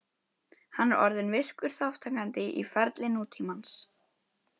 Hann er orðinn virkur þátttakandi í ferli nútímans.